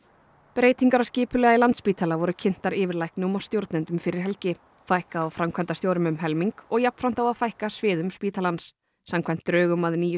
breytingar á skipulagi Landspítala voru kynntar yfirlæknum og stjórnendum fyrir helgi fækka á framkvæmdastjórum um helming og jafnframt á að fækka sviðum spítalans samkvæmt drögum að nýju